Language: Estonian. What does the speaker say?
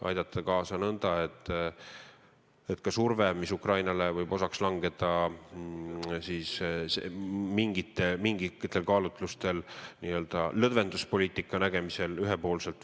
Aidata kaasa nõnda, et me arvestaksime ka survet, mis Ukrainale võib osaks langeda, kui mingitel kaalutlustel pakutakse suhetes Venemaaga ühepoolselt nn lõdvenduspoliitikat.